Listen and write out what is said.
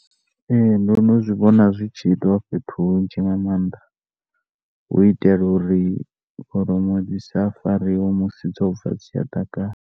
Ehe ndo no zwi vhona zwi tshiitwa fhethu hunzhi nga mannḓa u itela uri kholomo dzi sa fariwe musi dzo bva dzi tshi ya ḓakani.